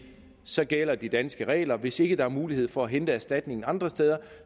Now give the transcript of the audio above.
så gælder de danske regler hvis ikke der er mulighed for at hente erstatningen andre steder